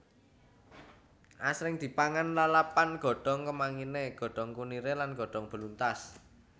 Asring dipangan lalapan godhong kemanginé godhong kuniré lan godhong beluntas